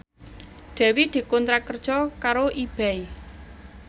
Dewi dikontrak kerja karo Ebay